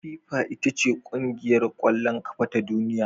FIFA ita ce kungiyar kwallon kafa ta duniya